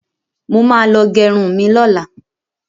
Mo ma lọ gẹrun mi lọ́la